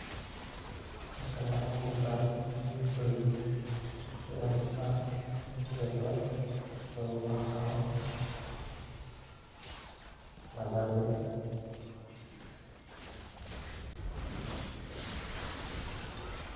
Halkani wa igu ga muqdan cuntoyin cuntadas o lagumagac abo mandaziga